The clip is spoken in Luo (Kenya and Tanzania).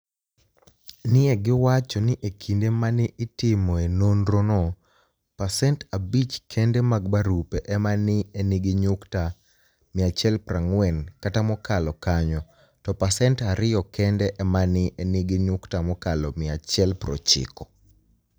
ni e giwacho nii e kinide ma ni e itimoe nonirono, pasenit 5 kenide mag barupe ema ni e niigi niyukta 140 kata mokalo kaniyo, to pasenit 2 kenide ema ni e niigi niyukta mokalo 190.